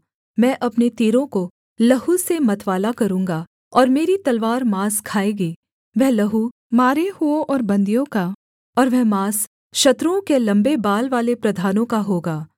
मैं अपने तीरों को लहू से मतवाला करूँगा और मेरी तलवार माँस खाएगीवह लहू मारे हुओं और बन्दियों का और वह माँस शत्रुओं के लम्बे बाल वाले प्रधानों का होगा